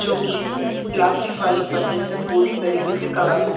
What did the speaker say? जोकि प्लास्टिक वाली पन्नी से पूरी तरीके से कवर है।